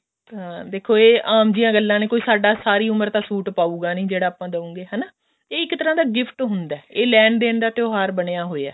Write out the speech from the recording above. ਹਾਂ ਦੇਖੋ ਇਹ ਆਮ ਜਿਹੀਆਂ ਗੱਲਾਂ ਨੇ ਕੋਈ ਸਾਡਾ ਸਾਰੀ ਉਮਰ ਤਾਂ ਸੂਟ ਪਾਉਗਾ ਨੀ ਜਿਹੜਾ ਆਪਾਂ ਦਵਾਂਗੇ ਹਨਾ ਇਹ ਇੱਕ ਤਰ੍ਹਾਂ ਦਾ gift ਹੁੰਦਾ ਲੈਣ ਦੇਣ ਦਾ ਤਿਉਹਾਰ ਬਣਿਆ ਹੋਇਆ